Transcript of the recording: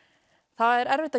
það er erfitt